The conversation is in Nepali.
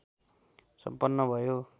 सम्पन्न भयो